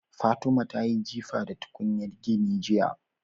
Fatima tayi jifa da tukunyar gini jiya